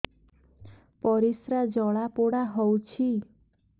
ପରିସ୍ରା ଜଳାପୋଡା ହଉଛି